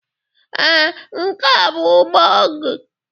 Ee, nke a bụ ugbo gị.